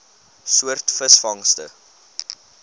soort visvangste